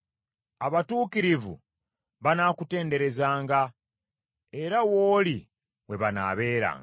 Abatuukirivu banaakutenderezanga, era w’oli we banaabeeranga.